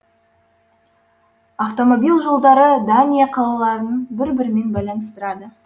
автомобил жолдары дания қалаларын бір бірімен байланыстырады